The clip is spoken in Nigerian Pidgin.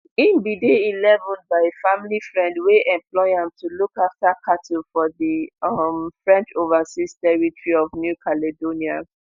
im bin dey eleven by a family friend wey employ am to look after cattle for di um french overseas territory of new caledonia